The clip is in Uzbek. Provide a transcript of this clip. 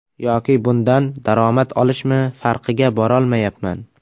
Yoki bundan daromad olishmi, farqiga borolmayapman.